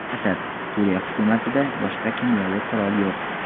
Asad: Suriya hukumatida boshqa kimyoviy qurol yo‘q.